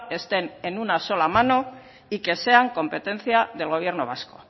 estén en una sola mano y que sean competencia del gobierno vasco